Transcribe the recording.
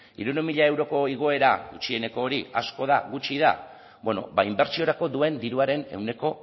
hirurehun mila euroko igoera gutxieneko hori asko da gutxi da bueno inbertsiorako duen diruaren ehuneko